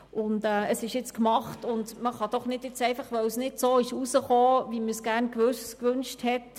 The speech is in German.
Nun ist es gemacht, und man kann es doch nun nicht einfach ablehnen, weil es nicht so herausgekommen ist, wie man es gewünscht hat.